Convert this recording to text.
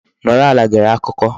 Nọrọ ala gere akụkọ.